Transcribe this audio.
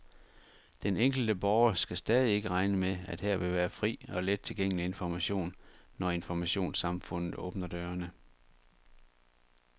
Den enkelte borger skal stadig ikke regne med, at her vil være fri og let tilgængelig information, når informationssamfundet åbner dørene.